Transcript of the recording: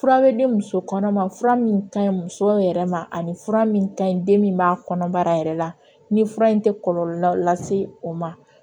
Fura bɛ di muso kɔnɔma fura min ka ɲi musow yɛrɛ ma ani fura min ka ɲi den min b'a kɔnɔbara yɛrɛ la ni fura in tɛ kɔlɔlɔ lase o ma